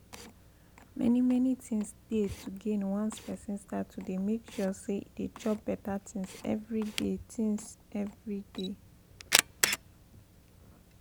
many many things dey to gain once person start dey make sure say e dey chop better things every day things every day